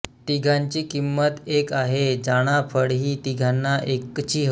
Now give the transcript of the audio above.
तिघांची किंमत एक आहे जाणा फळहि तिघांना एकचि हो